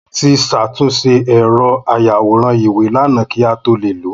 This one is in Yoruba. Mo ti ṣàtúnṣe ẹ̀rọ ayàwòrán-ìwé lànà kí a tó le lo